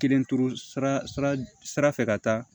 Kelen turu sira fɛ ka taa